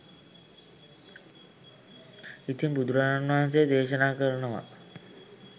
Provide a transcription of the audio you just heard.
ඉතින් බුදුරජාණන් වහන්සේ දේශනා කරනවා